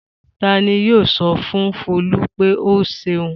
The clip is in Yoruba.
Ta ni yóò sọ fún Folú pé ó ṣeun?